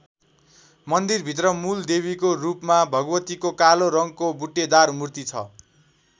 मन्दिरभित्र मूल देवीको रूपमा भगवतीको कालो रङको बुट्टेदार मूर्ति छ।